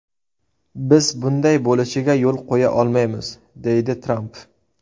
Biz bunday bo‘lishiga yo‘l qo‘ya olmaymiz”, deydi Tramp.